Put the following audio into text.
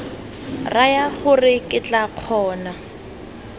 raya gore ke tla kgona